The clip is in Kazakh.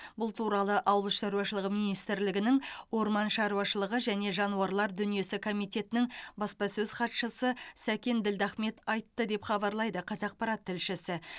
бұл туралы ауыл шаруашылығы министрлігінің орман шаруашылығы және жануарлар дүниесі комитетінің баспасөз хатшысы сәкен ділдахмет айтты деп хабарлайды қазақпарат тілшісі